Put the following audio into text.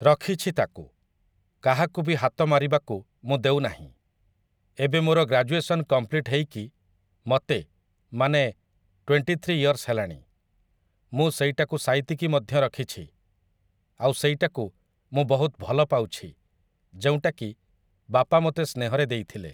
ରଖିଛି ତାକୁ, କାହାକୁ ବି ହାତ ମାରିବାକୁ, ମୁଁ ଦେଉ ନାହିଁ । ଏବେ ମୋର ଗ୍ରାଜୁଏସନ କମ୍ପ୍ଲିଟ୍‌ ହେଇକି, ମତେ, ମାନେ, ଟ୍ୱେଣ୍ଟି ଥ୍ରୀ ଇୟର୍ସ ହେଲାଣି, ମୁଁ ସେଇଟାକୁ ସାଇତିକି ମଧ୍ୟ ରଖିଛି, ଆଉ ସେଇଟାକୁ ମୁଁ ବହୁତ ଭଲପାଉଛି ଯେଉଁଟାକି, ବାପା ମୋତେ ସେହ୍ନରେ ଦେଇଥିଲେ ।